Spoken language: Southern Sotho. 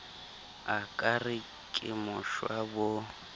a re ke moshwa bo